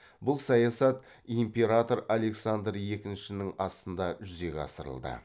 бұл саясат император александр екіншінің астында жүзеге асырылды